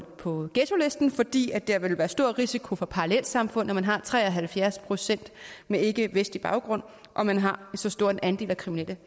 på ghettolisten fordi der ville være stor risiko for parallelsamfund når man har tre og halvfjerds procent med ikkevestlig baggrund og man har så stor en andel af kriminelle